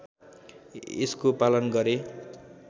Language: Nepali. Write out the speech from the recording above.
यसको पालन गरे